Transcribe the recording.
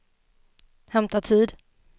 hämta tid